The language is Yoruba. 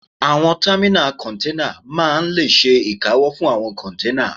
Àwọn támínà kọ́nténà máa n lè ṣe ìkáwọ́ fún àwọn kọ́nténà